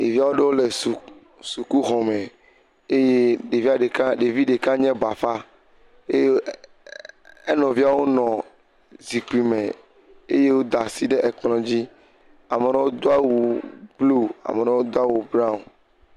Ɖevi aɖewo le suk, sukuxɔme eye ɖevia ɖeka, ɖevi ɖeka nye bafa eye enɔviawo nɔ zikpime eye woda asi ɖe ekplɔ̃dzi. Ame ɖewo do awu bluu, ame ɖewo do awu braɔ̃ŋ.